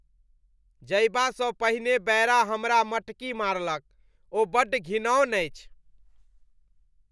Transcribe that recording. जयबासँ पहिने बैरा हमरा मटकी मारलक। ओ बड्ड घिनौन अछि।